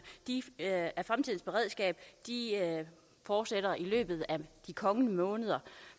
af fremtidens beredskab fortsætter i løbet af de kommende måneder